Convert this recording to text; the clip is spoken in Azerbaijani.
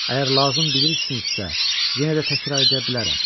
Əgər lazım bilirsinizsə, yenə də təkrar edə bilərəm.